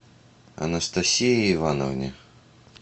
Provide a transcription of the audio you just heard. анастасии ивановне